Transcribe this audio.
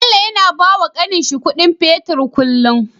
Bello yAna bawa kanin shi Ƙudin fetir kullun